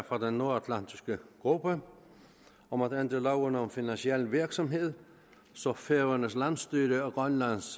fra den nordatlantiske gruppe om at ændre loven om finansiel virksomhed så færøernes landsstyre og grønlands